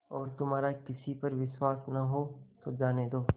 और तुम्हारा किसी पर विश्वास न हो तो जाने दो